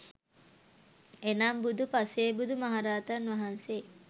එනම් බුදු, පසේබුදු, මහරහතන් වහන්සේ